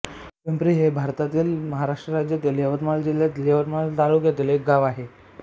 पिंपरी हे भारतातील महाराष्ट्र राज्यातील यवतमाळ जिल्ह्यातील यवतमाळ तालुक्यातील एक गाव आहे